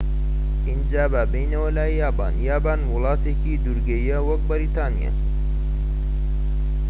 ئینجا با بێینە لای یابان یابان وڵاتێکی دورگەییە وەکو بەریتانیا